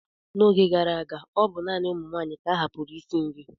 N'oge gara aga, ọ bụ naanị ụmụ nwaanyị ka ahapụụrụ isi nri.